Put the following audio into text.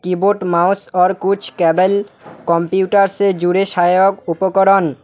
keyboard mouse और कुछ cable computer से जुड़े सहायक उपकरण--